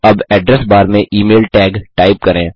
अब address bar में email tag type करें